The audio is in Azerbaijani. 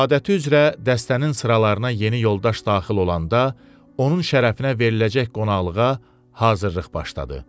Adəti üzrə dəstənin sıralarına yeni yoldaş daxil olanda, onun şərəfinə veriləcək qonaqlığa hazırlıq başladı.